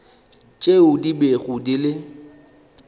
tšeo di bego di le